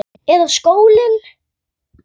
Eða sólin?